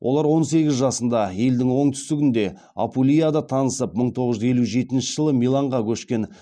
олар он сегіз жасында елдің оңтүстігінде апулияда танысып мың тоғыз жүз елу жетінші жылы миланға көшкен